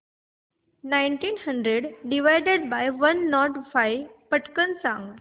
nineteen hundred divided by one not five पटकन सांग